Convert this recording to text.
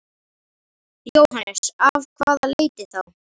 Jóhannes: Af hvaða leiti þá?